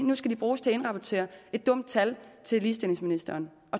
nu skal de bruges til at indrapportere et dumt tal til ligestillingsministeren